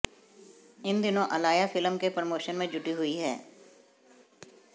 इन दिनों अलाया फिल्म के प्रमोशन में जुटी हुई हैं